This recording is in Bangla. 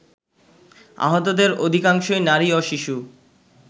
আহতদের অধিকাংশই নারী ও শিশু